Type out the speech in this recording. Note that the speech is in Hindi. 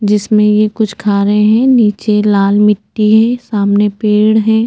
जिस में ये कुछ खा रहे है नीचे लाल मिट्टी है सामने पेड़ है।